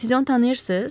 Siz onu tanıyırsız?